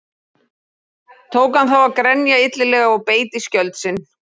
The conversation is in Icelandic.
Tók hann þá að grenja illilega og beit í skjöld sinn.